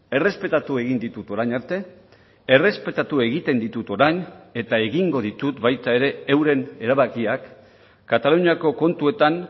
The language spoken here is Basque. errespetatu egin ditut orain arte errespetatu egiten ditut orain eta egingo ditut baita ere euren erabakiak kataluniako kontuetan